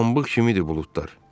Pambıq kimidir buludlar.